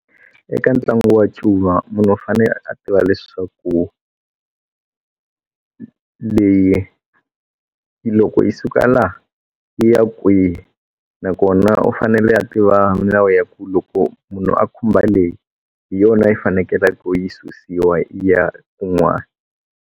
Eka ntlangu wa ncuva munhu u fanele a tiva leswaku leyi loko yi suka la yi ya kwihi nakona u fanele a tiva milawu ya ku loko munhu a khumba leyi hi yona yi fanekelaku yi susiwa yi ya kun'wani.